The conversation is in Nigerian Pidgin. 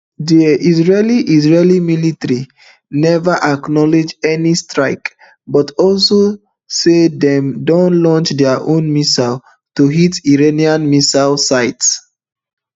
di israeli israeli military neva acknowledge any strike but also say dem don launch dia own missiles to hit iranian missile site